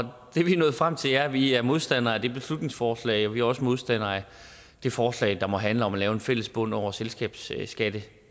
og det vi er nået frem til er at vi er modstandere af det beslutningsforslag og vi er også modstandere af det forslag der måtte handle om at lave en fælles bund over selskabsskattesatsen